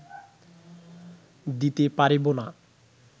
দিতে পারিব না